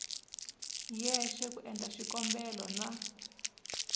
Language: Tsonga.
yexe ku endla xikombelo na